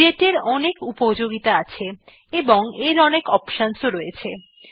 date এর অনেক উপযোগিতা আছে এবং এর অনেক অপশন রয়েছে